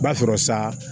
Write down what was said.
I b'a sɔrɔ sa